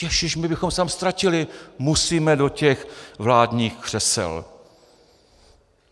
Ježíši, my bychom se tam ztratili, musíme do těch vládních křesel.